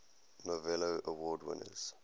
novello award winners